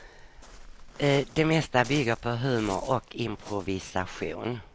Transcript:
Det mesta bygger på humor och improvisation.